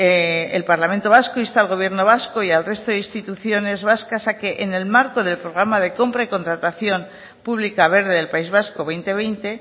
el parlamento vasco insta al gobierno vasco y al resto de instituciones vascas a que en el marco del programa de compra y contratación pública verde del país vasco dos mil veinte